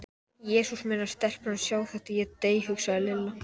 Jesús minn ef stelpurnar sjá þetta, ég dey. hugsaði Lilla.